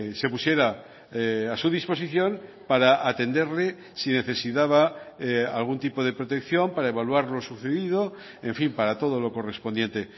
se pusiera a su disposición para atenderle si necesitaba algún tipo de protección para evaluar lo sucedido en fin para todo lo correspondiente